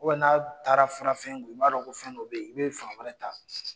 n'a taara fara fɛn kun, i b'a dɔn ko fɛn dɔ bɛ yen, i bɛ fan wɛrɛ ta.